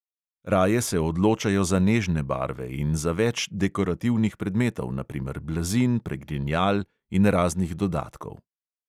Raje se odločajo za nežne barve in za več dekorativnih predmetov, na primer blazin, pregrinjal in raznih dodatkov.